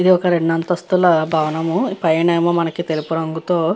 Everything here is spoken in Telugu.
ఇది ఒక రెండు అంతస్తుల భవనము పైన తెలుపు రంగుతో --